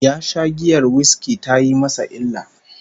Ya sha giyar whiskey tayi masa illa